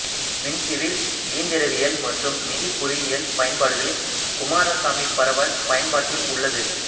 மின் சிவில் இயந்திரவியல் மற்றும் நிதி பொறியியல் பயன்பாடுகளில் குமாரசாமி பரவல் பயன்பாட்டில் உள்ளது